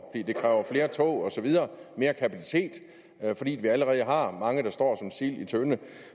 det kræver flere tog osv mere kapacitet fordi vi allerede har mange der står som sild i en tønde